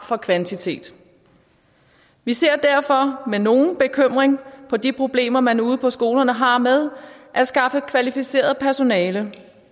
af kvantitet vi ser derfor med nogen bekymring på de problemer man ude på skolerne har med at skaffe kvalificeret personale